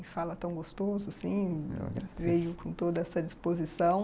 E fala tão gostoso assim, veio com toda essa disposição.